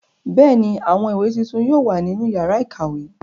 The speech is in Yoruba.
Bẹ́ẹ̀ ni, àwọn ìwé tuntun yóò wà nínú ìyàrá-ìkàwé.